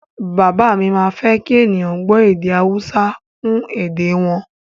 Bàbá mi má ń fẹ́ kí ènìyàn ó gbọ́ èdè Haúsá kún èdè e wọn